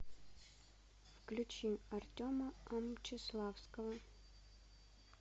включи артема амчиславского